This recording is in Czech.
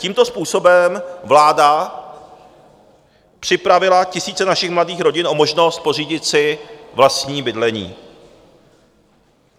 Tímto způsobem vláda připravila tisíce našich mladých rodin o možnost pořídit si vlastní bydlení.